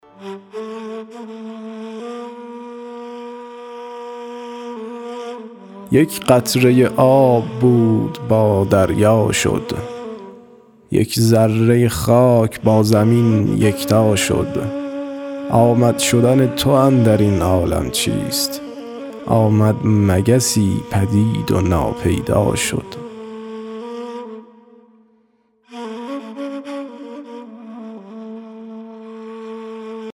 یک قطره آب بود با دریا شد یک ذره خاک با زمین یکتا شد آمد شدن تو اندر این عالم چیست آمد مگسی پدید و ناپیدا شد